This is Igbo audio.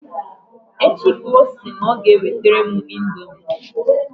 Echi ka ọ sị na ọ ga-ewetere m indomi.